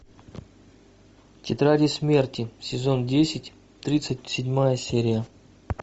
тетради смерти сезон десять тридцать седьмая серия